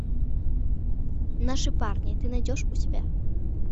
наши парни ты найдешь у себя